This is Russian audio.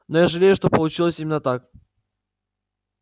но я жалею что получилось именно так